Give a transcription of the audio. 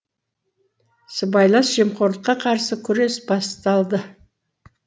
сыбайлас жемқорлыққа қарсы күрес басталды